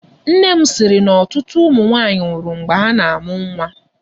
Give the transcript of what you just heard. Nne m sịrị na ọtụtụ ụmụ nwaanyị nwụrụ mgbe ha na-amụ nwa.